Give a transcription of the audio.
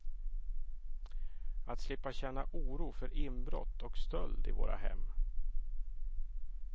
Att slippa känna oro för inbrott och stöld i våra hem.